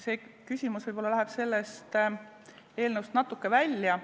See küsimus läheb võib-olla selle eelnõu teemast natuke välja.